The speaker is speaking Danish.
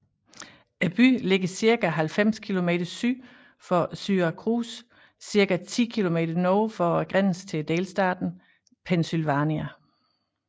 Byen ligger cirka 90 km syd for Syracuse cirka 10 km nord for grænsen til delstaten Pennsylvania